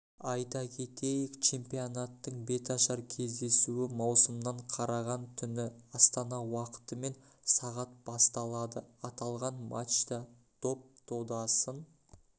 айта кетейік чемпионаттың беташар кездесуі маусымнан қараған түні астана уақытымен сағат басталады аталған матчта доп додасын